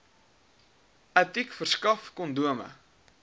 aticc verskaf kondome